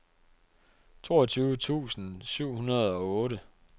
toogtyve tusind syv hundrede og otte